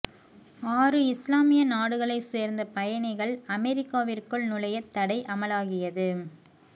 ஆறு இஸ்லாமிய நாடுகளை சேர்ந்த பயணிகள் அமெரிக்காவிற்குள் நுழைய தடை அமலாகியது